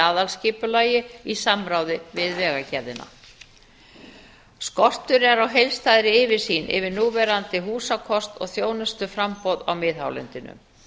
aðalskipulagi í samráði við vegagerðina skortur er á heildstæðri yfirsýn yfir núverandi húsakost og þjónustuframboð á miðhálendinu